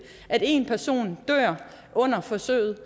at en person dør under forsøget